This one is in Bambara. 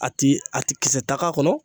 A ti a ti kisɛ ta k'a kɔnɔ